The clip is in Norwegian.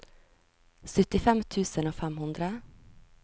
syttifem tusen og fem hundre